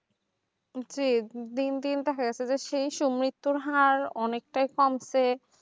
জি দিন দিন তো হারাতে যাচ্ছে এই সব মৃত্যুর হার অনেকটাই কমছে